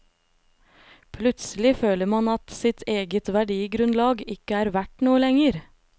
Plutselig føler man at sitt eget verdigrunnlag ikke er verdt noe lenger.